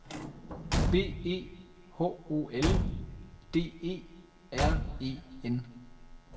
B E H O L D E R E N